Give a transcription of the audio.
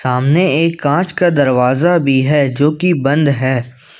सामने एक कांच का दरवाजा भी है जो कि बंद है।